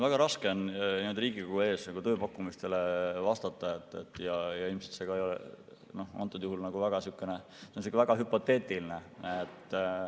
Väga raske on Riigikogu ees tööpakkumistele vastata ja ilmselt antud juhul on see ka väga sihukene hüpoteetiline.